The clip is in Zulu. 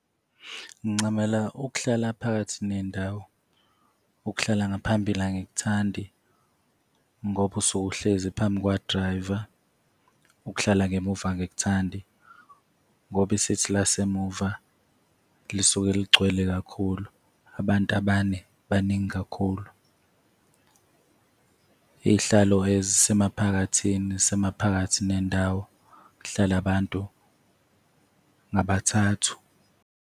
Ngincamela ukuhlala phakathi nendawo. Ukuhlala ngaphambili angikuthandi ngoba usuke uhlezi phambi kwa-driver. Ukuhlala ngemuva angikuthandi ngoba i-seat lasemuva lisuke ligcwele kakhulu, abantu abane baningi kakhulu. Iy'hlalo ezisemaphakathini, ezisemaphakathi nendawo zihlala abantu ngabathathu.